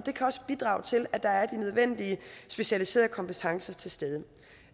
det kan også bidrage til at der er de nødvendige specialiserede kompetencer til stede